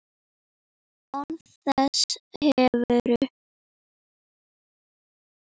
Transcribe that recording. Án þess hefur